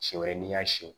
Si wɛrɛ n'i y'a siyɛn